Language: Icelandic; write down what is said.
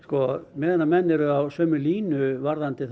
meðan menn eru á sömu línu varðandi